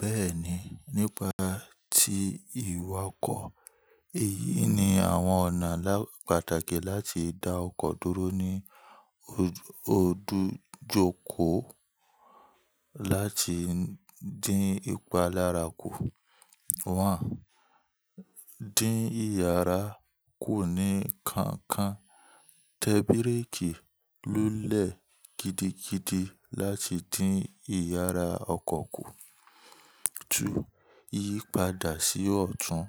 Bẹ́ẹ̀ni, nípa tí ìwakọ̀. Èyí ni àwọn ọ̀nà pàtàkì láti da ọkọ̀ dúró ní ojú ọdúnjokò láti dín ipa lára kù. Dín yàrá kù ní kankan, tẹ bíréèkì lulẹ̀ gidigidi láti dín iyàrá ọkọ̀ kù. Tú. Yípadà sí ọ̀tún,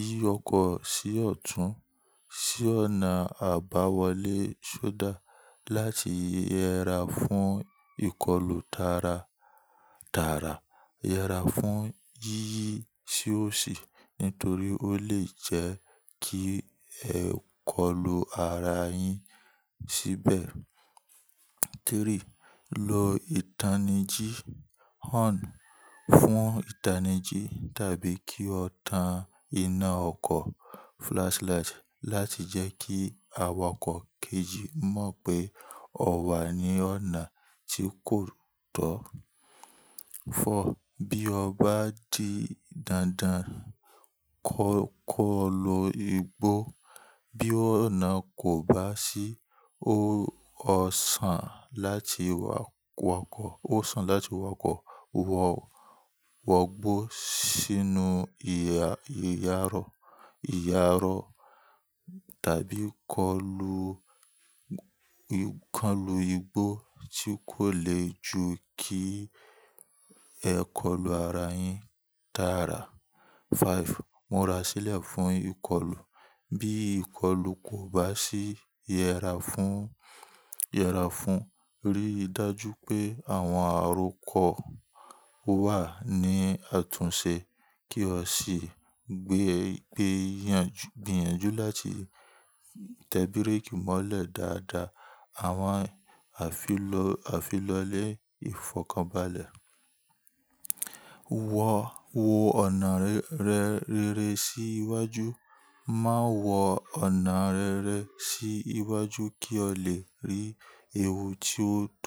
yí ọkọ̀ sí ọ̀tún sí ọ̀nà àbáwọlé sódà láti yẹra fún ìkọlù tàrà-tàrà. Yẹra fún yíyí sí òsì nítorí ó lè jẹ́ kí ẹ́ kọ̀lù ara yin síbẹ̀. Tẹríì, lo ìtanijí, horn fún ìtanijí tàbí kí o tan iná ọkọ̀ flashlight láti jẹ́ kí awakọ̀ kejì mọ̀ pé o wà ní ọ̀nà tí kò tọ́. Four, bí o bá di dandan, kọ́-kọ́ lo igbó. Bí ọ̀nà kò bá ṣí, o-ọ sàn láti wakọ, o sàn láti wakọ, wọ̀, wọ̀ gbó sínú ìyà, ìyàró, ìyàró tàbí kọ́lù, kọ́lù igbó tí kò lè ju kí ẹ́kọ̀lù ara yin tààrà. Five, múra sílẹ̀ fún ìkọlù. Bí ìkọlù kò bá ṣí, yẹra fún, yẹra fún, rí i dájú pé àwọn àròkọ wà ní àtúnṣe kí o sìgbìyànjú láti tẹ bíréèkì mọ́lẹ̀ dáadáa. Àwọn àfilọ, àfí lọ́lẹ́ ìfọ̀kànbalẹ̀. Wọ̀, wo ọ̀nà rẹ́, rẹ́rẹ́ sí iwájú. Má wọ ọ̀nà rẹ́rẹ́ sí iwájú kí o lè rí ewu tí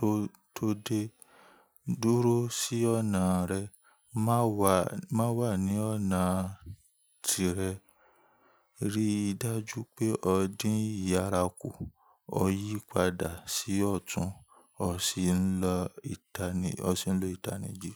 ó tó dé. Dúró sí ọ̀nà rẹ. Má wà, má wà ní ọ̀nà tìrẹ. Rí i dájú pé o dín yàrá kù, o yípadà sí ọ̀tún, o sì ń lo ìtani, ọ sì ń lo ìtanijí.